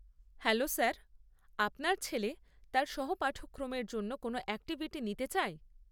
Hello sir, আপনার ছেলে তার সহপাঠক্রমের জন্য কোন অ্যাকটিভিটি নিতে চায়?